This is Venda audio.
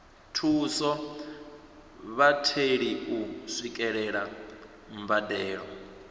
thusa vhatheli u swikelela mbadelo